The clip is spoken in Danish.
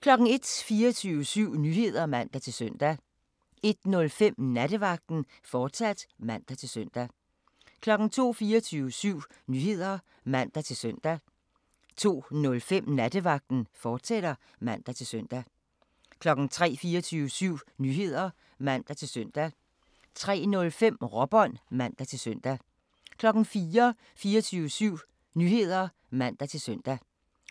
01:00: 24syv Nyheder (man-søn) 01:05: Nattevagten, fortsat (man-søn) 02:00: 24syv Nyheder (man-søn) 02:05: Nattevagten, fortsat (man-søn) 03:00: 24syv Nyheder (man-søn) 03:05: Råbånd (man-søn) 04:00: 24syv Nyheder (man-søn)